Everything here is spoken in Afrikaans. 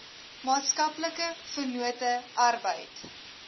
maatskaplike vennote arbeid